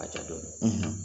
Ka ca dɔɔnin